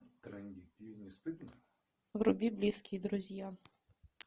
вруби близкие друзья